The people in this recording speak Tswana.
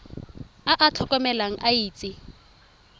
a a tlotlegang a itse